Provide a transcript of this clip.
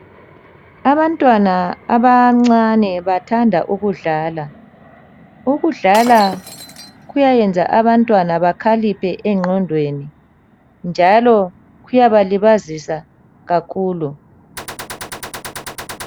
Abantwana abancane bathanda ukudlala. Ukudlala kuyayenza abantwana bakhaliphe egqondweni njalo kuyabalibazisa kakhulu.